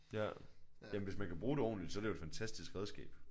Ja jamen hvis man kan bruge det ordenligt så er det jo et fantastisk redskab